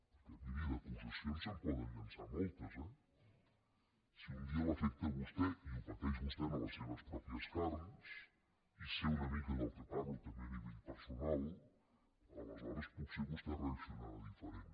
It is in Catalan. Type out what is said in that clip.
perquè miri d’acusacions se’n poden llançar moltes eh si un dia l’afecta a vostè i ho pateix vostè en les seves pròpies carns i sé una mica del que parlo també en l’àmbit personal aleshores potser vostè reaccionarà diferent